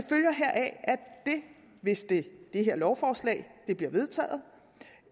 hvis det her lovforslag bliver vedtaget